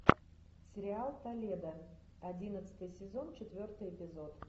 сериал толедо одиннадцатый сезон четвертый эпизод